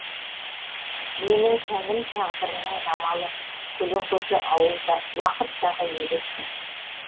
менің тәнім тағдырымның жамалы көлеңкесі уақыттағы елестің